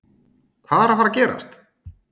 Hvað er að fara að gerast?